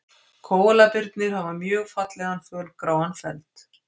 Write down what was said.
Kóalabirnir hafa mjög fallegan fölgráan feld.